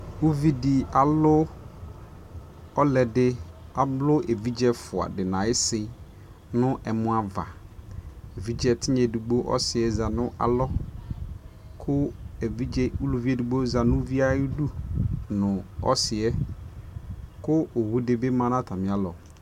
ʋvidi alʋ ɔlʋɛdi, ɛvidzɛ ɛƒʋa di nʋ ayisi nʋ ɛmɔ aɣa, ɛvidzɛ tinya ɛdigbɔ ɔsiiɛ zanʋ alɔ kʋ ɛvidzɛ ʋlʋvi ɛdigbɔ zanʋ ʋviɛ ayidʋ nʋ ɔsiiɛ, kʋ ɔwʋ dibi manʋ atami alɔ